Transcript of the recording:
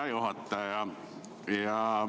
Hea juhataja!